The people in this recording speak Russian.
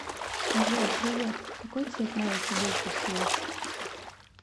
джой привет какой цвет нравится больше всего